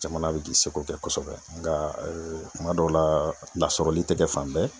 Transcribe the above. Jamana be k'i seko kɛ kosɛbɛ. Nga ee kuma dɔw la nasɔrɔli te kɛ fan bɛɛ